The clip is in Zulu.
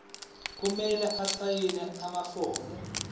kumele asayine amafomu